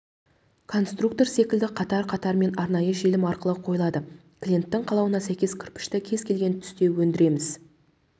конструктор секілді қатар-қатарымен арнайы желім арқылы қойылады клиенттің қалауына сәйкес кірпішті кез келген түсте өндіреміз